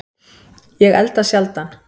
Ég elda sjaldan